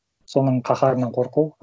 соның қаһарынан қорқу